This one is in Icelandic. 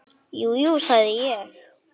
Jú, jú, sagði ég.